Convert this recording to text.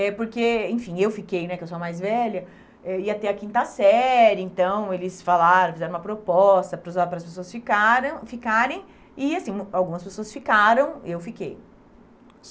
É porque, enfim, eu fiquei, né, que eu sou a mais velha, eh ia ter a quinta série, então, eles falaram, fizeram uma proposta para os ah para as pessoas ficaram ficarem e, assim, algumas pessoas ficaram, eu fiquei.